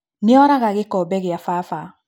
Nĩoraga gĩkombe gĩa baba